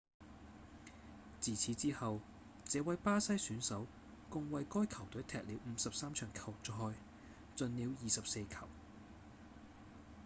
自此之後這位巴西選手共為該球隊踢了53場球賽進了24球